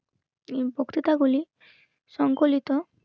বক্তিতা গুলি সংকলিত